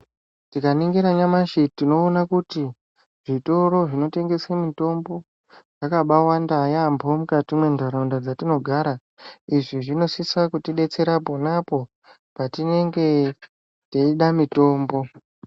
Tikaningira nyamashi tinoona kuti zvitoro zvinotengesa mitombo zvakabawanda yampho mwukati mwentaraunda dzatinogara. Izvi zvinosisa kutidetsera ponapo patinenge teida mutombo.